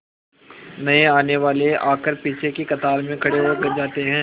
नए आने वाले आकर पीछे की कतार में खड़े हो जाते हैं